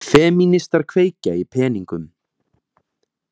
Femínistar kveikja í peningum